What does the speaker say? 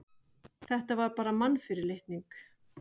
Þetta var bara mannfyrirlitning.